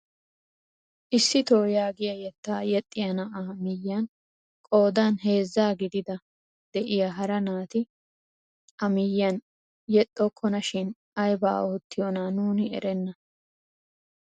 Isitoo yaagiyaa yettaa yexxiyaa na'aa miyiyaan qoodan heezzaa gidida de'iyaa hara naati a miyiyaan yexxokona shin aybaa oottiyoona nuuni erennan!